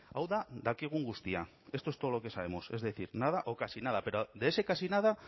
hau da dakigun guztia esto es todo lo que sabemos es decir nada o casi nada pero de ese casi nada